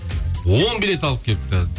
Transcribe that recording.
он билет алып келіпті